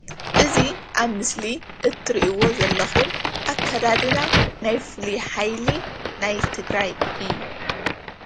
እዚ ኣብ ምስሊ እትሪእዎ ዘለኩም ኣከዳድና ናይ ፉሉይ ሓይሊ ናይ ትግራይ እዩ፡፡